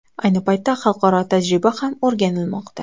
Ayni paytda xalqaro tajriba ham o‘rganilmoqda.